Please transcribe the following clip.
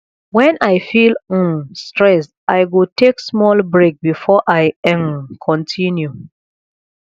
when i feel um stressed i go take small break before i um continue